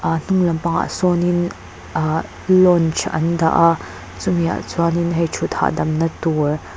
a hnung lampang ah sawnin ahh lounge an dah a chumi ah chuanin hei ṭhut hahdamna tur--